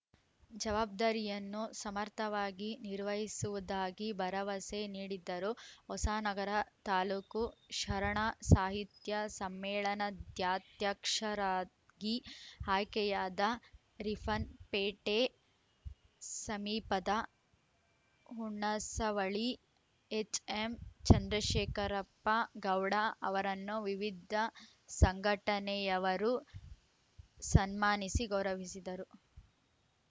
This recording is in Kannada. ಜವಾಬ್ದಾರಿಯನ್ನು ಸಮರ್ಥವಾಗಿ ನಿರ್ವಹಿಸುವುದಾಗಿ ಭರವಸೆ ನೀಡಿದ್ದರು ಹೊಸನಗರ ತಾಲೂಕು ಶರಣ ಸಾಹಿತ್ಯ ಸಮ್ಮೇಳನಾಧ್ಯಕ್ಷರಾಗಿ ಆಯ್ಕೆಯಾದ ರಿಫ್ಫನ್‌ಪೇಟೆ ಸಮೀಪದ ಹುಣಸವಳಿ ಎಚ್‌ಎಂ ಚಂದ್ರಶೇಖರಪ್ಪ ಗೌಡ ಅವರನ್ನು ವಿವಿಧ ಸಂಘಟನೆಯವರು ಸನ್ಮಾನಿಸಿ ಗೌರವಿಸಿದರು